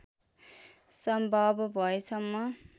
सम्भव भएसम्म